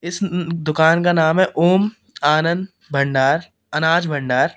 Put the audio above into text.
इस अं अं दुकान का नाम है ओम आनंद भंडार अनाज भंडार --